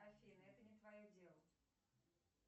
афина это не твое дело